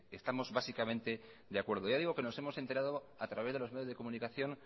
estamos básicamente de acuerdo ya digo que nos hemos enterado a través de los medios de comunicación